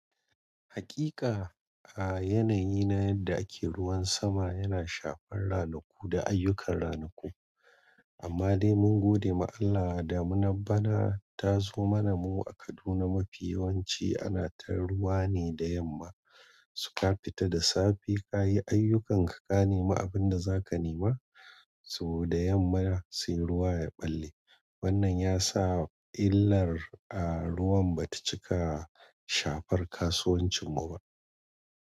Haƙiƙa, a yanayi na yadda ake ruwan sama yana shafar ranaku da ayyukan ranaku. Amma dai mun gode ma Allah damunan bana ta zo mana mu a Kaduna mafi yawanci ana ta ruwa ne da yamma. Suka fita da safe kayi ayyukanka ka nema abinda zaka nema so da yamma sai ruwa yaɓalle. Wannan ya sa illar a ruwan bata cika shafar kasuwancin mu ba.